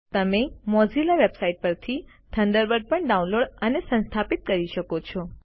તમે Mozilla website પરથી Thunderbird પણ ડાઉનલોડ અને સંસ્થાપિત કરી શકો છો